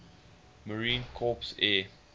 marine corps air